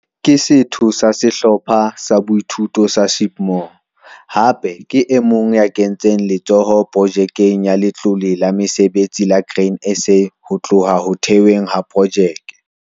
Ke setho sa Sehlopha sa Boithuto sa Sheepmoor. Hape ke e mong ya kentseng letsoho Projekeng ya Letlole la Mesebetsi la Grain SA ho tloha ho thehweng ha projeke.